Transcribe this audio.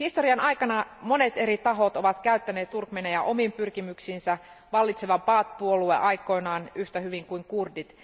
Historian aikana monet eri tahot ovat käyttäneet turkmeeneja omiin pyrkimyksiinsä, vallitseva Baath puolue aikoinaan yhtä hyvin kuin kurdit.